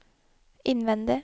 innvendig